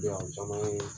Yan caman ye